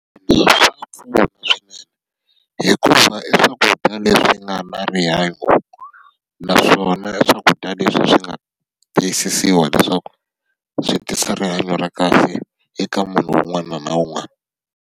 hikuva i swakudya leswi nga na rihanyo. Naswona i swakudya leswi swi nga tiyisisiwa leswaku swi tisa rihanyo ra kahle eka munhu un'wana na un'wana.